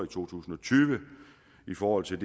to tusind og tyve i forhold til